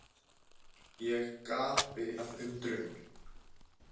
Ég gapi af undrun.